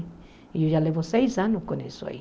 E eu já levo seis anos com isso aí.